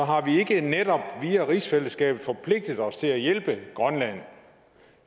ikke netop via rigsfællesskabet forpligtet os til at hjælpe grønland